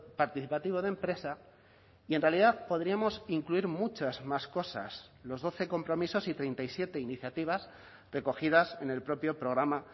participativo de empresa y en realidad podríamos incluir muchas más cosas los doce compromisos y treinta y siete iniciativas recogidas en el propio programa